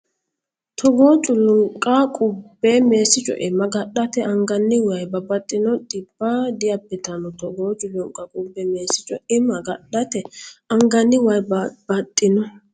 Togoo culunqa qubbe Meessi co imma agadhate anganni way babbaxxino dhibba diabbitanno Togoo culunqa qubbe Meessi co imma agadhate anganni way babbaxxino.